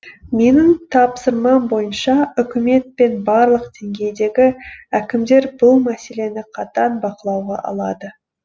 менің тапсырмам бойынша үкімет пен барлық деңгейдегі әкімдер бұл мәселені қатаң бақылауға алады